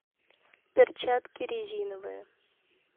перчатки резиновые